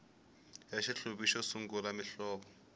xa xihluvi xo sungula muhlovo